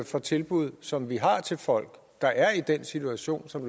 for tilbud som vi har til folk der er i den situation som